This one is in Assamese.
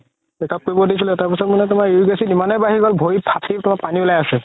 check up কৰিব দিছিলে তাৰ পিছত মানে তুমাৰ uric acid ইমানে বাঢ়ি গ'ল ভৰি ফাতি পুৰা পানি উলাই আছে